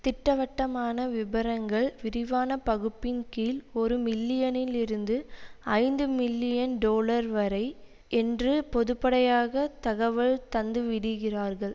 திட்டவட்டமான விபரங்கள் விரிவான பகுப்பின் கீழ் ஒரு மில்லியனில் இருந்து ஐந்து மில்லியன் டொலர்வரை என்று பொதுப்படையாக தகவல் தந்து விடுகிறார்கள்